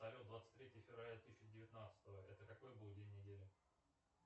салют двадцать третье февраля две тысячи девятнадцатого это какой был день недели